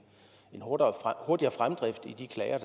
hurtigere fremdrift i de klager